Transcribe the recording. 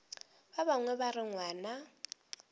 ba bangwe ba re ngwana